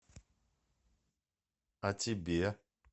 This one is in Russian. а тебе